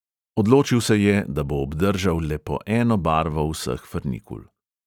Odločil se je, da bo obdržal le po eno barvo vseh frnikul.